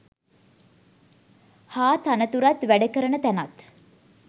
හා තනතුරත් වැඩ කරන තැනත්